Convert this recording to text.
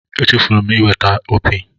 Echefuru m iweta opi.